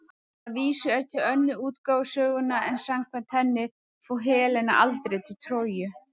Að vísu er til önnur útgáfa sögunnar en samkvæmt henni fór Helena aldrei til Tróju.